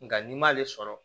Nga n'i m'ale sɔrɔ